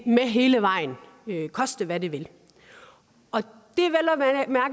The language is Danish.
med hele vejen koste hvad det vil og det